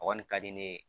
A kɔni ka di ne ye